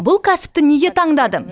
бұл кәсіпті неге таңдадым